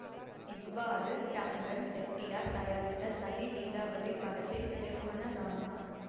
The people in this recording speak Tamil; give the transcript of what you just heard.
இவ்வாறு டங்கன் செட்டியார் தயாரித்த சதி லீலாவதி படத்தின் இயக்குனரானார்